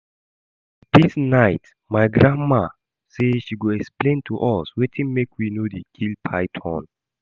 Dis night my grandmama say she go explain to us wetin make we no dey kill python